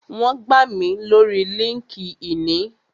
Wón gbà mí lórii líńki-inì